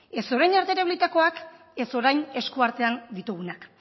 ez orain arte erabilitakoak ez orain eskuartean ditugunak